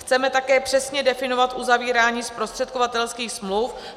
Chceme také přesně definovat uzavírání zprostředkovatelských smluv.